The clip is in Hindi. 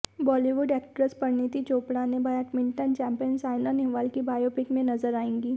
बॉलीवुड एक्ट्रेस परिणीति चोपड़ा ने बैडमिंटन चैंपियन सायना नेहवाल की बायोपिक में नजर आएंगी